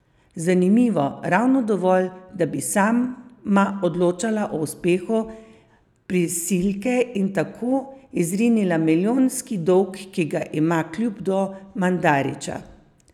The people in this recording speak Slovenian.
Zanimivo, ravno dovolj, da bi sama odločala o uspehu prisilke in tako izrinila milijonski dolg, ki ga ima klub do Mandarića.